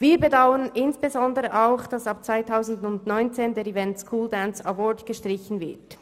Wir bedauern insbesondere auch, dass der Event School Dance Award ab 2019 gestrichen wird.